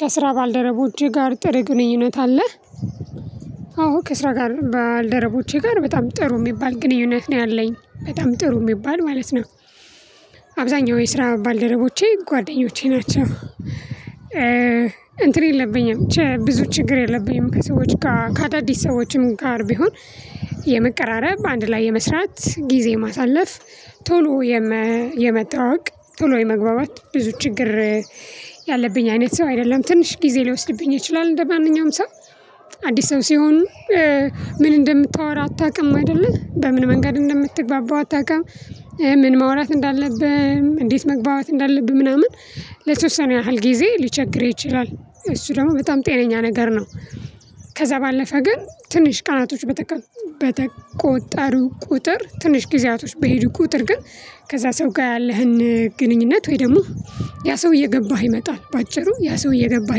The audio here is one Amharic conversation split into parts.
ከስራ ባልደረቦቼ ጋር ጥሩ ግንኙነት አለ። አዎ ከስራ ጋር ባልደረቦቼ ጋር በጣም ጥሩ የሚባል ግንኙነት ነው ያለኝ በጣም ጥሩ የሚባል ማለት ነው። አብዛኛው የስራ ባልደረቦቼ ጓደኞቼ ናቸው። እንትን የለብኝም ብዙ ችግር የለብኝም ከሰዎች ጋር ከአዳዲስ ሰዎችም ጋር ቢሆን የመቀራረብ አንድ ላይ የመስራት ጊዜ ማሳለፍ ቶሎ የመተዋወቅ ቶሎ የመግባባት ብዙ ችግር ያለብኝ አይነት ሰው አይደለም ትንሽ ጊዜ ሊወስድብኝ ይችላል። እንደማንኛውም ሰው አዲስ ሰው ሲሆን ምን እንደምታወራ አታውቅም አይደለ በምን መንገድ እንደምትግባባው አታውቅም። ምን ማውራት እንዳለብህ እንዴት መግባባት እንዳለብህ ምናምን ለተወሰነ ያህል ጊዜ ሊቸግርህ ይችላል እሱ ደግሞ በጣም ጤነኛ ነገር ነው። ከዛ ባለፈ ግን ትንሽ ቀናቶች በተቆጣሪው ቁጥር ትንሽ ጊዜያቶች በሄዱ ቁጥር ግን ከዛ ሰው ጋር ያለህን ግንኙነት ወይ ደግሞ ያ ሰው እየገባህ ይመጣል በአጭሩ ያ ሰው እየገባህ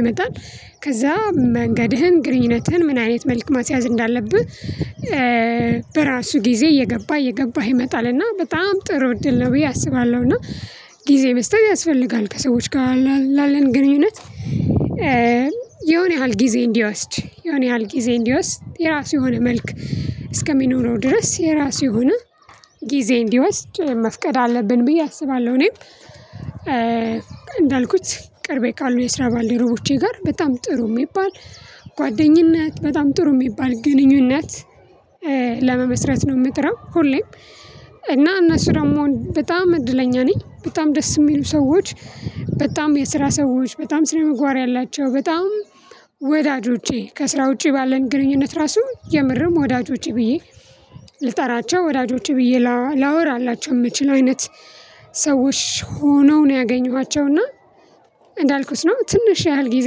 ይመጣል። ከዛ መንገድህን ግንኙነትህን ምን አይነት መልኩ ማስያዝ እንዳለብህ በራሱ ጊዜ እየገባ እየገባ ይመጣል እና በጣም ጥሩ እድል ነው ብዬ አስባለሁ። እና ጊዜ መስጠት ያስፈልጋል ከሰዎች ጋር ላለን ግንኙነት። የሆነ ያህል ጊዜ እንዲወስድ የሆነ ያህል ጊዜ እንዲወስድ የራሱ የሆነ መልክ እስከሚኖረው ድረስ የራሱ የሆነ ጊዜ እንዲወስድ መፍቀድ አለብን ብዬ አስባለሁ። እኔም እንዳልኩት ቅርቤ ካሉ የስራ ባልዲ ሩቦቼ ጋር በጣም ጥሩ የሚባል ጓደኝነት በጣም ጥሩ የሚባል ግንኙነት። ለመመስረት ነው የምጠረው ሁሌም እና እነሱ ደግሞ በጣም እድለኛ ነኝ በጣም ደስ የሚሉ ሰዎች። በጣም የስራ ሰዎች በጣም ስነምጓራ ያላቸው በጣም ወዳጆቼ ከስራ ውጪ ባለን ግንኙነት ራሱ የምርም ወዳጆች ብዬ ልጠራቸው ወዳጆች ብዬ ላወራላቸው የምችል አይነት ሰዎች ሆነው ነው ያገኘኋቸው። እና እንዳልኩት ነው ትንሽ ያህል ጊዜ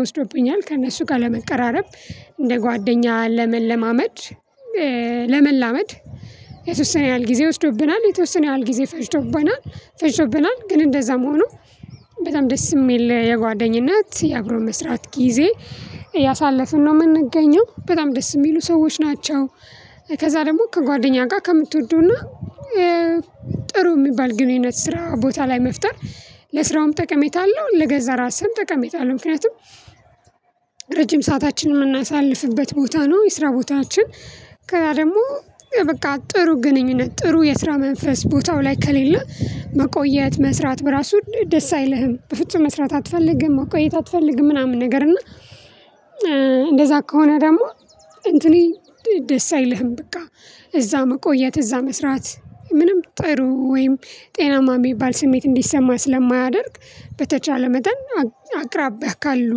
ወስዶብኛል ከእነሱ ጋር ለመቀራረብ እንደ ጓደኛ ለመለማመድ ለመላመድ የተወሰነ ያህል ጊዜ ወስዶብናል የተወሰነ ያህል ጊዜ ፈጅቶብናል ፈጅቶብናል ግን እንደዛም ሆኖ። በጣም ደስ የሚል የጓደኝነት የአብሮ መስራት ጊዜ እያሳለፍን ነው የምንገኘው በጣም ደስ የሚሉ ሰዎች ናቸው። ከዛ ደግሞ ከጓደኛ ጋር ከምትወደውና ጥሩ የሚባል ግንኙነት ስራ ቦታ ላይ መፍጠር ለስራውም ጠቀሜታ አለው። ለገዛ ራስህም ጠቀሜታ አለው ምክንያቱም ረጅም ሰዓታችን የምናሳልፍበት ቦታ ነው። የስራ ቦታዎችን ከዛ ደግሞ በቃ ጥሩ ግንኙነት ጥሩ የስራ መንፈስ ቦታው ላይ ከሌለ መቆየት መስራት በራሱ ደስ አይልህም በፍጹም መስራት አትፈልግም መቆየት አትፈልግም ምናምን ነገር እና። እንደዛ ከሆነ ደግሞ እንትኔ ደስ አይልህም በቃ እዛ መቆየት እዛ መስራት ምንም ጥሩ ወይም ጤናማ የሚባል ስሜት እንዲሰማ ስለማያደርግ። በተቻለ መጠን አቅራቢያ ካሉ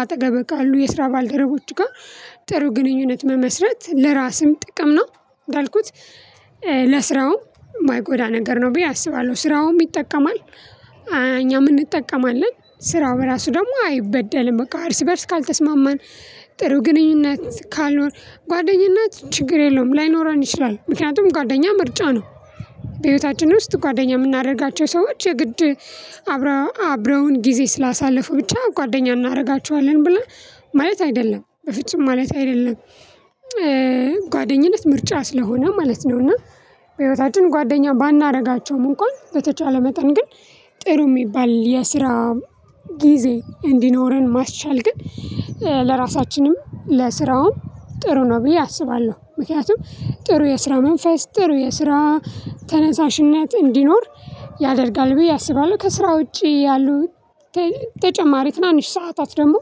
አጠገብህ ካሉ የስራ ባልደረቦቹ ጋር ጥሩ ግንኙነት መመስረት ለራስም ጥቅም ነው። እንዳልኩት ለስራው የማይጎዳ ነገር ነው ብዬ አስባለሁ ስራውም ይጠቀማል። እኛም እንጠቀማለን ስራው እራሱ ደግሞ አይበደልም በቃ እርስ በእርስ ካልተስማማን። ጥሩ ግንኙነት ካልኖር ጓደኝነት ችግር የለውም ላይኖረን ይችላል ምክንያቱም ጓደኛ ምርጫ ነው። በህይወታችን ውስጥ ጓደኛ የምናደርጋቸው ሰዎች የግድ አብረውን ጊዜ ስላሳለፉ ብቻ ጓደኛ እናደርጋቸዋለን ብላ ማለት አይደለም በፍጹም ማለት አይደለም። ጓደኝነት ምርጫ ስለሆነ ማለት ነው። እና በህይወታችን ጓደኛ ባናደርጋቸውም እንኳን በተቻለ መጠን ግን ጥሩ የሚባል የስራ ጊዜ እንዲኖረን ማስቻል ግን ለራሳችንም ለስራውም ጥሩ ነው ብዬ አስባለሁ። ምክንያቱም ጥሩ የስራ መንፈስ ጥሩ የስራ ተነሳሽነት እንዲኖር ያደርጋል ብዬ አስባለሁ። ከስራ ውጪ ያሉ ተጨማሪ ትናንሽ ሰዓታት ደግሞ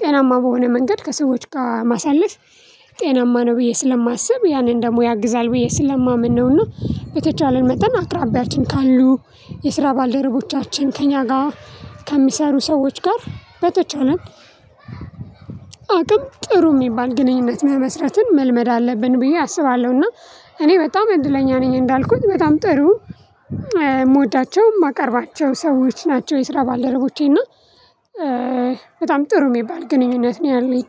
ጤናማ በሆነ መንገድ ከሰዎች ጋር ማሳለፍ ጤናማ ነው ብዬ ስለማስብ ያንን ደግሞ ያግዛል ብዬ ስለማመን ነው። እና በተቻለን መጠን አቅራቢያችን ካሉ የስራ ባልደረቦቻችን ከእኛ ጋር ከሚሰሩ ሰዎች ጋር በተቻለ አቅም ጥሩ የሚባል ግንኙነት መመስረትን መልመድ አለብን ብዬ አስባለሁ። እና እኔ በጣም እድለኛ ነኝ እንዳልኩት በጣም ጥሩ የምወዳቸው የማቀርባቸው ሰዎች ናቸው። የስራ ባልደረቦቼ እና በጣም ጥሩ የሚባል ግንኙነት ነው ያለኝ።